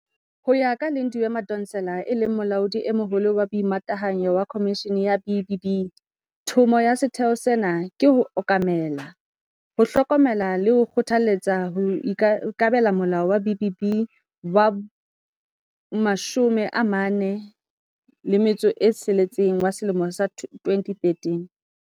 Ho ya ka Lindiwe Madonsela, e leng Molaodi e Moholo wa Boimatahanyo wa Khomishene ya B-BBEE, thomo ya setheo sena ke ho okamela, ho hlokomela le ho kgothaletsa ho ikobela Molao wa B-BBEE wa bo-46 wa selemo sa 2013.